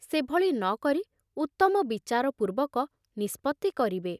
ସେଭଳି ନ କରି ଉତ୍ତମ ବିଚାର ପୂର୍ବକ ନିଷ୍ପତ୍ତି କରିବେ।